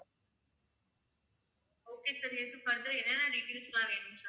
okay sir இதுக்கு வந்து என்னென்ன details லாம் வேணும்?